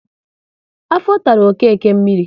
Afọ tara Okeke mmiri